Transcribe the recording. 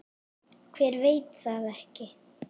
Hver veit það ekki?